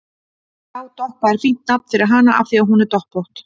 Já, Doppa er fínt nafn fyrir hana af því að hún er doppótt